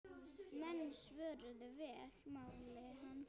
Menn svöruðu vel máli hans.